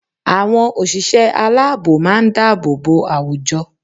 Àwọn òṣìṣẹ́ aláàbò má a ń dáàbò bo àwùjọ